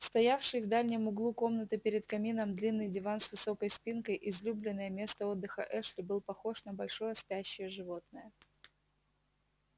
стоявший в дальнем углу комнаты перед камином длинный диван с высокой спинкой излюбленное место отдыха эшли был похож на большое спящее животное